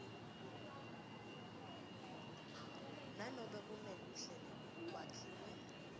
nanobe kuneluhlelo kwakhiwe